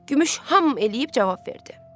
Gümüş ham eləyib cavab verdi.